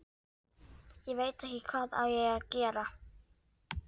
Ég veit ekki hvað ég á að gera